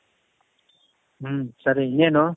ಹ್ಮ್ ಸರಿ ಇನ್ನೇನು ?